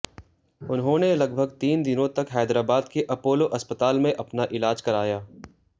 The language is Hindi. उन्होंने लगभग तीन दिनों तक हैदराबाद के अपोलो अस्पताल में अपना इलाज कराया